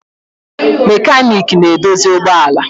Mekaniiki na-edozi ụgbọ ala.